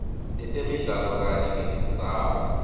tetemidlalo kanye netindzawo